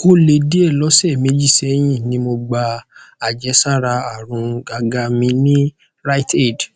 o le die lọsẹ meji sẹyin ni mo gba ajesara arun gaga mi ni riteaid